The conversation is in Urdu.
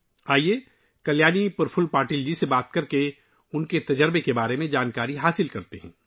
آئیے، کلیانی پرفل پاٹل جی سے بات کریں اور ان کا تجربہ جانتے ہیں